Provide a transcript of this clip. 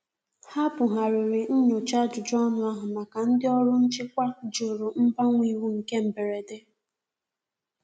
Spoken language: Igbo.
Ha bu ghariri nnyocha ajụjụ ọnụ ahu maka ndi ọrụ nchịkwa jụrụ mgbanwe iwu nke mgberede.